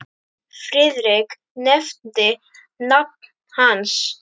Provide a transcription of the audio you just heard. Friðrik nefndi nafn hans.